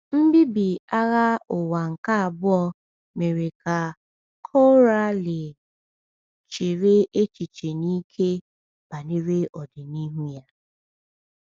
Mbibi Agha Ụwa nke Abụọ mere ka Coralie chere echiche n’ike banyere ọdịnihu ya.